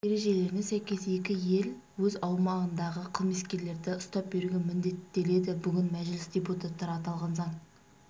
ережелеріне сәйкес екі ел өз аумағындағы қылмыскерлерді ұстап беруге міндеттеледі бүгін мәжіліс депутаттары аталған заң